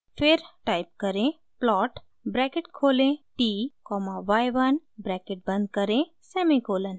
फिर टाइप करें plot bracket खोलें t कॉमा y 1 ब्रैकेट बंद करें सेमीकोलन